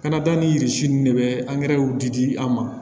Kana taa ni de bɛ angɛrɛw di di an ma